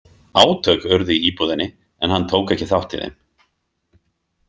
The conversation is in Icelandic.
Átök urðu í íbúðinni en hann tók ekki þátt í þeim.